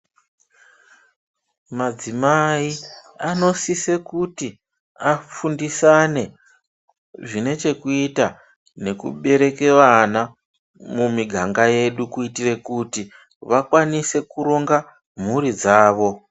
Madzimai anosise kuti afundisane zvinechekuita nekubereke vana mumiganga yedu kuitire kuti vakwanise kuronga mhuri dzavo.